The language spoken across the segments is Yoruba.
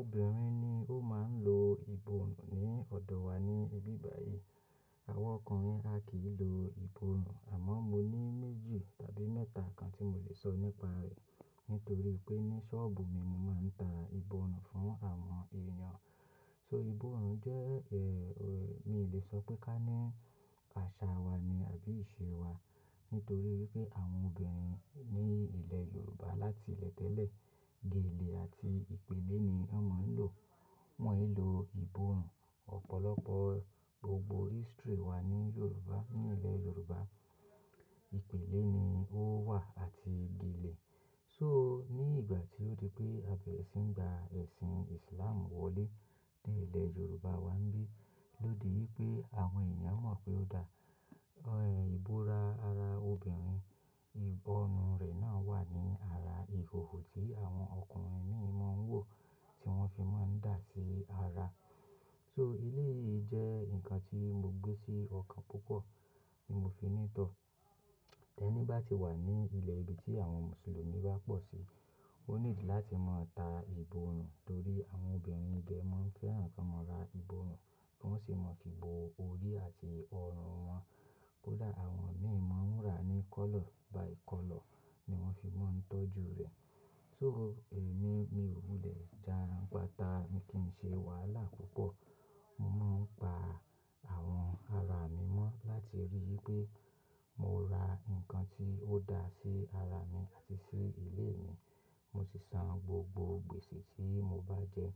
Obìnrin ni ó máa ń lo ìborù ní ọ̀dọ̀ wa ní ibi báyìí. Àwọn ọkùnrin a kì í lo ìborù, àmọ́ mo ní méjì tàbí mẹ́ta kan tí mo lè sọ nípa rẹ̀. Nítorí pé ní ṣọ́ọ̀bù mi, mo máa ń ta ìbọnù fún àwọn èèyàn. So ìbọnù jẹ́, mi ò lè sọ pé ká né àṣà wa ni àbí ìṣe wa. Nítorí wipé àwọn obìnrin ní ilẹ̀ Yorùbá láti ilẹ̀ tẹ́lẹ̀, gèlè àti ìpele ni wọ́n máa ń lò. Wọ́n yìí lo ìborù. Ọ̀pọ̀lọpọ̀ gbogbo history wa ní Yorùbá, ní ilẹ̀ Yorùbá, ìpele ni ó wà àti gèlè. So ní ìgbà tí ó di pé a bẹ̀rẹ̀ sí ń gba ẹ̀sìn Ìsìláàmù wọlé ní ilẹ̀ Yorùbá wa, bí i lódì wí pé àwọn èèyàn mọ̀ pé ó dáa. Ẹ̀ ìbó ra ara obìnrin, ìbọrù rẹ̀ náà wà ní ara ìhòhò tí àwọn ọkùnrin mímọ́ ń wò, tí wọ́n fi máa ń dà sí ara. So elé yìí jẹ́ nǹkan tí mo gbé sí ọkàn púpọ̀, ní mo fi ní tọ̀. Ẹni bá ti wà ní ilẹ̀ ibi tí àwọn Mùsùlùmí bá pọ̀ síi, ó needi láti mọ̀ ta ìboru. Tórí àwọn obìnrin ibẹ̀ mọ́ n fẹ́ràn kí wọ́n máa ra ìbọrù, kí wọ́n sì má fi bo orí àti ọrùn wọn. Kó dà, àwọn mímọ́ ń rà ní color by color, ni wọ́n fi máa ń tọ́jú rẹ̀. So emi, mi ò wúlẹ̀ ján gbáta ní kí ń ṣe wàhálà púpọ̀. Mo máa ń pa àwọn ara mi mọ́ láti rí wí pé mo ra nǹkan tí ó dáa sí ara mi àti sí ilé mi, mo sì san gbogbo gbèsè tí mo bá jẹ.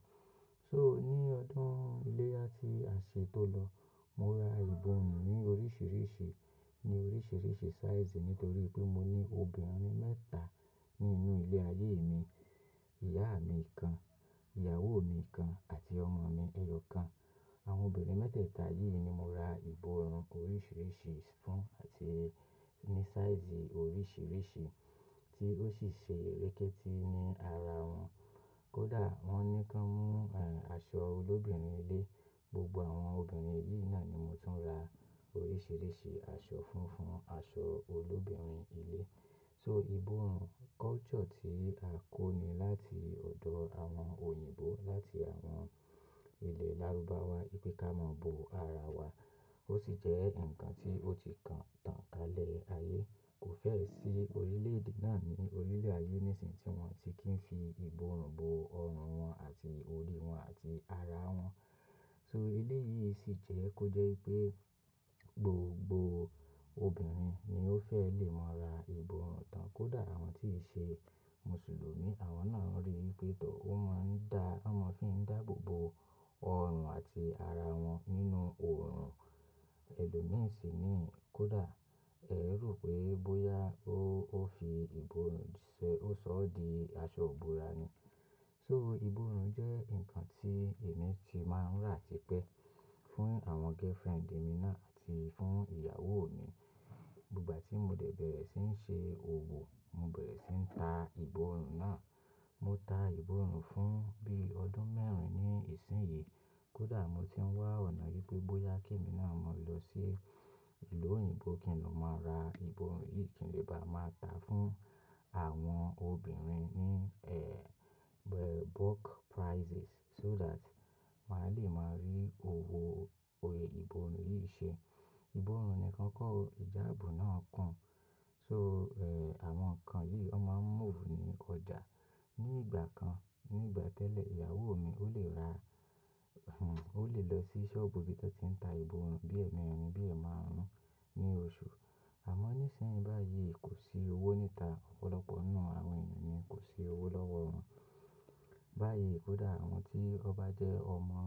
So ní ọdún iléya ti àṣẹ tó lọ, mo ra ìbọrù ní oríṣiríṣi, ní oríṣiríṣi sáìsì. Nítorí pé mo ní obìnrin mẹ́ta ní inú ilé ayé mi. Ìyá mi kan, ìyàwó mi kan àti ọmọ mi ẹyọ kan. Àwọn obìnrin mẹ́tẹ̀ẹ̀ta yìí ni mo ra ìborù oríṣiríṣi fún, àti ní sáìsì oríṣiríṣi, tí ó sì ṣe eréké tí ní ara wọn. Kó dà, wọ́n ní ka mọ́ àṣọ olóbìnrin ilé. Gbogbo àwọn obìnrin yìí náà ni mo tún ń ra oríṣiríṣi àṣọ funfun, àṣọ olóbìnrin ilé. So ìborù culture tí a kó ni láti ọ̀dọ̀ àwọn òyìnbó, láti àwọn ilẹ̀ lárúbá wá, wì pe ká mọ́ bo ara wa. Ó sì jẹ́ nǹkan tí ó ti kàn tàn kálẹ̀ ayé. Kò fẹ́ẹ̀ sí orílẹ̀-èdè náà ní orílẹ̀-ayé, níṣìn tí wọ́n ti kìí fi ìborù bo ọrùn wọn àti orí wọn àti ara wọn. So ilé yìí sì jẹ́ kó jẹ́ pé gbogbo obìnrin ni ó fẹ́ lè mọ́ ra ìborù tán. Kó dà, àwọn tí ṣe Mùsùlùmí, àwọn náà ń rí wi pé tọ́, ó máa ń dá, wọ́n máa ń fi ń dáàbẹ̀ bo ọrùn àti ara wọn nínú òòrùn ẹlòmí sì ni. Kó dà, ẹ ro pé bóyá ó fi ìborù ṣẹ́, ó sọ ọ́ di aṣọ ìbóra ni. So ìborù jẹ́ nǹkan tí èmi ti máa ń rà ti pé fún àwọn girlfriend mi náà àti fún ìyàwó mi. Gbígbà tí mo dẹ̀ bẹ̀rẹ̀ sí ń ṣe òwò, mo bẹ̀rẹ̀ sí ń ta ìborù náà. Mo ta ìborù fún bí i ọdún mẹ́rin ní ìsìnyí. Kó dà, mo ti ń wá ọ̀nà wí pé bóyá kí èmi náà máa lọ sí ìlú òyìnbó kí n ló máa ra ìborù yìí, kí n le bá máa tà á fún àwọn obìnrin ní bulk prices, so that mà á lè máa rí owó èèyì ìborù yìí ṣe. Ìborù nìkan kọ́ o, ìjáàbù náà kun. So àwọn nǹkan yìí, wọ́n máa ń move ní ọjà. Ní ìgbà kan, ní ìgbà tẹ́lẹ̀, ìyàwó mi ó le ra, ó lè lọ sí ṣọ́ọ̀bù bí i tọ́ tí ń ta ìbọnù, bíi ẹ̀merin bíi ẹ̀ máaruń ní oṣù. Àmọ́ níṣìn báyìí, kò sí owó níta. Ọ̀pọ̀lọpọ̀ náà àwọn èèyàn ni kò sí owó lọ́wọ́ wọn. Báyìí kó dà, àwọn tí ọbá jẹ́ ọmọ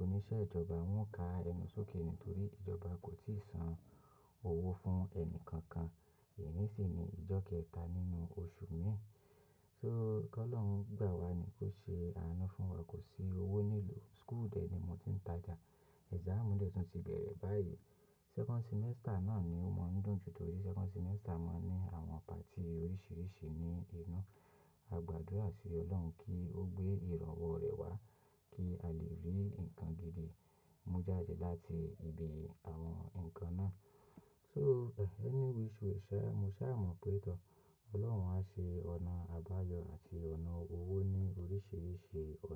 oníṣẹ́ ìjọba, wọ́n ka ẹnú sókè nítorí ìjọba kò tíì san owó fún ẹnìkankan. Èní sì ní ìjọ́ kẹta nínú oṣù mìí. So kí Ọlọ́run gbà wá ní kó ṣe àánú fún wa, kò sí owó nílùú. School de ni mo ti ń tajà. Exam debt tún ti bẹ̀rẹ̀ báyìí. Second semester náà ni ó máa ń dùn jù, torí second semester máa ń ní àwọn patí oríṣiríṣi ní inú. A gbàdúrà sí Ọlọ́run kí ó gbé ìraǹwọ́ rẹ̀ wá kí a lè rí nǹkan gidi. Mo jáde láti ibi àwọn nǹkan náà. So any which way, ṣẹ́, mo ṣà mọ̀ pé tọ́, Ọlọ́run á ṣe ọ̀nà àbáyọ àti ọ̀nà owó ní oríṣiríṣi ọ̀nà.